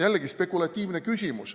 Jällegi spekulatiivne küsimus.